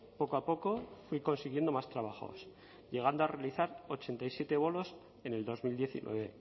poco a poco fui consiguiendo más trabajos llegando a realizar ochenta y siete bolos en el dos mil diecinueve